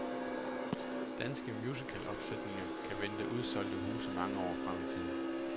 Danske musicalopsætninger kan vente udsolgte huse mange år frem i tiden.